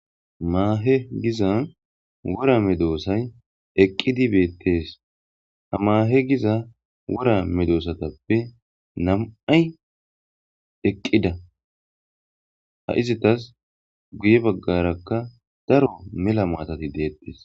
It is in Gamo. Maahe giza wora medoossay eqqidi beettees, hamaahe giza wora medoosatappe nam7ay eqqida ha izitas guye baggarakka daro mela maatati deettes.